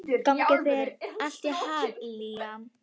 Gangi þér allt í haginn, Liam.